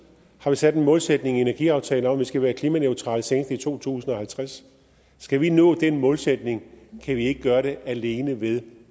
har vi sat en målsætning i energiaftalen om at vi skal være klimaneutrale senest i to tusind og halvtreds skal vi nå den målsætning kan vi ikke gøre det alene ved